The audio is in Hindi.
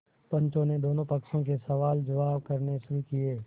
पंचों ने दोनों पक्षों से सवालजवाब करने शुरू किये